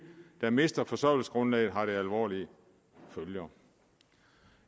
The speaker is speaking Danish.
der mister forsørgelsesgrundlaget har det alvorlige følger